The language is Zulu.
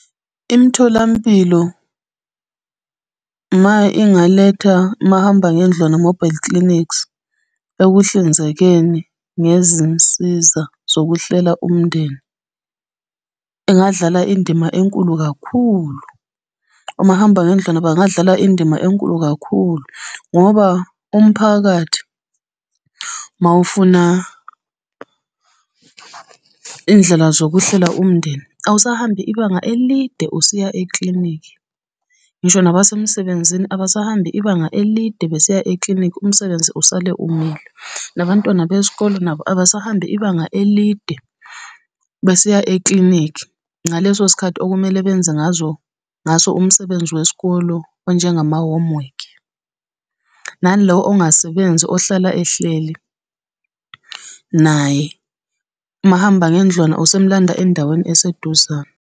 Imitholampilo, uma ingaletha mahamba ngendlwana, mobile clinics, ekuhlinzekeni ngezinsiza zokuhlela umndeni, engadlala indima enkulu kakhulu. Omahamba ngendlwane bangadlala indima enkulu kakhulu, ngoba umphakathi mawufuna iy'ndlela zokuhlela umndeni awusahambi ibanga elide usiya eklinikhi. Ngisho nabasemsebenzini abasahambi ibanga elide besiya eklinikhi umsebenzi usale umile, nabantwana besikole nabo abasahambi ibanga elide besiya eklinikhi, ngaleso sikhathi okumele benze ngazo, ngaso umsebenzi wesikole onjengama-homework. Nalo ongasebenzi ohlala ehleli, naye umahamba ngendlwane usemlanda endaweni eseduzane.